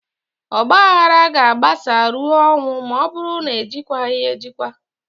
Ọgbaaghara ga-agbasaa ruo ọnwụ ma ọ bụrụ na-ejikwaghị ya ejikwa